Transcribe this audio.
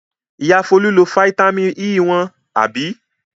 Ìyá Folú lo fataímìn E wọn, àbí?